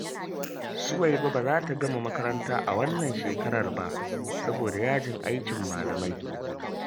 Suwaiba ba za ta gama makaranta a wannan shekarar ba, saboda yajin aikin malamai